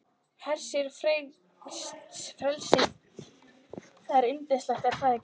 Hersir, frelsið, það er yndislegt er það ekki?